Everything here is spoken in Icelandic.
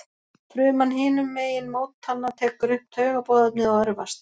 Fruman hinum megin mótanna tekur upp taugaboðefnið og örvast.